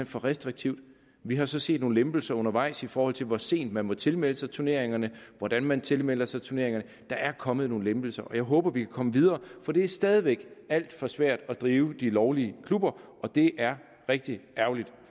for restriktivt vi har så set nogle lempelser undervejs i forhold til hvor sent man må tilmelde sig turneringerne og hvordan man tilmelder sig turneringerne der er kommet nogle lempelser og jeg håber vi kan komme videre for det er stadig væk alt for svært at drive de lovlige klubber og det er rigtig ærgerligt